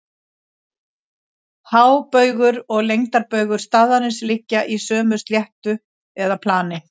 Hábaugur og lengdarbaugur staðarins liggja í sömu sléttu eða plani.